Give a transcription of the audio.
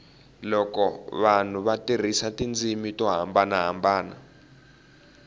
loko vanhu va tirhisa tindzimi to hambanahambana